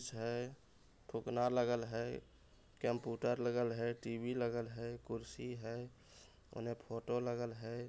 --छे फुगना लगल है कप्यूटर लगल है टी_वी लगल है कुर्सी है उने फोटो लगल है।